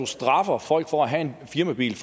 straffer folk for at have en firmabil